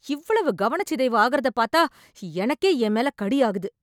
இவ்வளவு கவனச்சிதைவு ஆகுறதப் பாத்தா எனக்கே ஏன் மேல கடியாகுது.